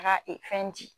Taga fɛn di